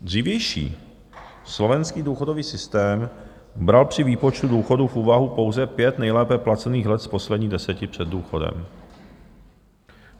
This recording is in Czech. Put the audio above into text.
Dřívější slovenský důchodový systém bral při výpočtu důchodů v úvahu pouze pět nejlépe placených let z posledních deseti před důchodem.